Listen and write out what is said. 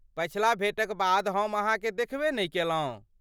पछिला भेँटक बाद हम अहाँकेँ देखबे नहि केलहुँ।